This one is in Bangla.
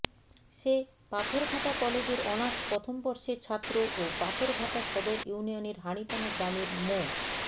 সে পাথরঘাটা কলেজের অনার্স প্রথম বর্ষের ছাত্র ও পাথরঘাটা সদর ইউনিয়নের হাড়িটানা গ্রামের মো